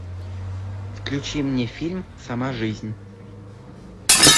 включи мне фильм сама жизнь